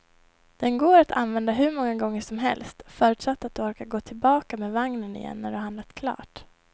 Den går att använda hur många gånger som helst, förutsatt att du orkar gå tillbaka med vagnen igen när du har handlat klart.